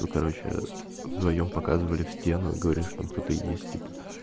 ну короче вдвоём показывали в стену и говорили что там кто-то есть типа